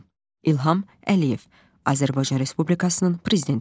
İlham Əliyev, Azərbaycan Respublikasının Prezidenti.